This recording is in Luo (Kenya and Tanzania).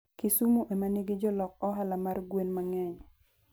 Kisumu emanigi jolok ohala mar gwen mangeny